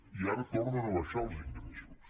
i ara tornen a baixar els ingressos